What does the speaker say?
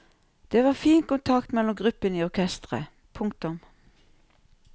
Det var fin kontakt mellom gruppene i orkestret. punktum